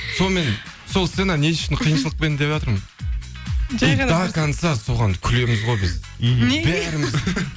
сонымен сол сцена не үшін қиыншылықпен деватырмын до конца соған күлеміз ғой біз мхм бәріміз